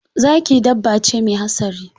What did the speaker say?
Zaki dabbace me hatsari.